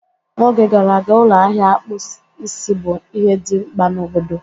N'oge gara aga, ụlọ ahịa akpụ isi bụ ihe dị mkpa na obodo.